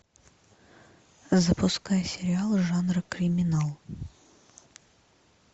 запускай сериал жанра криминал